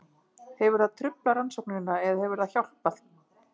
Hefur það truflað rannsóknina eða hefur það hjálpað?